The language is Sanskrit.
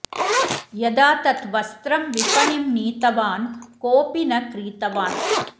यदा तत् वस्त्रं विपणिं नीतवान् कोपि न क्रीतवान्